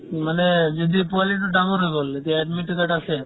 মানে যদি পোৱালিতো ডাঙৰ হৈ গ'ল এতিয়া admit তোতো তাত আছে